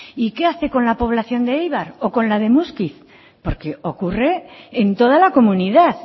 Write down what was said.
y qué hace con la población de eibar o con la muskiz porque ocurre en toda la comunidad